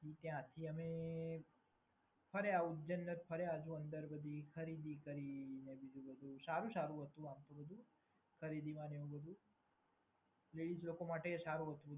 ત્યાંથી અમે ઉજ્જૈન ફર્યા. પછી અંદર બધી ખરીદી કરી. સારું-સારું હતું આમતો બધુ ખરીદી માટે ને એ માટે લેડિઝ લોકો માટે સારું હતું.